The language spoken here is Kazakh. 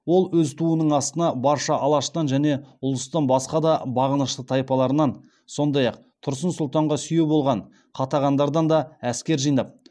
ол өз туының астына барша алаштан және ұлыстың басқа да бағынышты тайпаларынан сондай ақ тұрсын сұлтанға сүйеу болған қатағандардан да әскер жинап